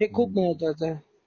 हे खूप महत्त्व आहे.